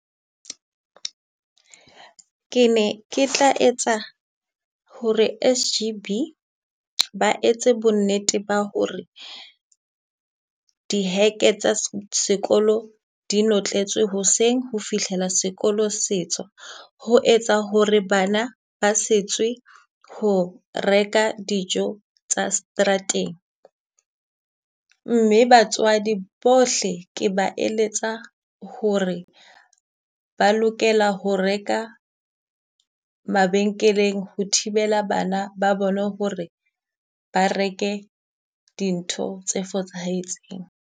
Ke ne ke tla etsa ho re S_G_B ba etse bonnete ba ho re di heke tsa sekolo di notletswe hoseng ho fihlela sekolo se tswa. Ho etsa ho re bana ba se tswe ho reka dijo tsa strateng, mme batswadi bohle ke ba eletsa ho re ba lokela ho reka mabenkeleng ho thibela bana ba bona ho re ba reke dintho tse fosahetseng.